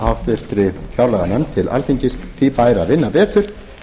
háttvirtri fjárlaganefnd til alþingis því bæri að vinna betur